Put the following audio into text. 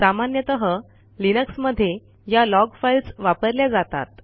सामान्यतः लिनक्समध्ये या लॉग फाईल्स वापरल्या जातात